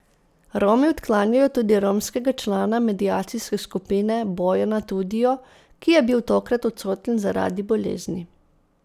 Romi odklanjajo tudi romskega člana mediacijske skupine Bojana Tudijo, ki je bil tokrat odsoten zaradi bolezni.